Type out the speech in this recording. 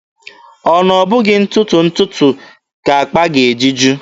Ọ na ọ bụghị ntụtụ ntụtụ ka akpa ga-eji ju?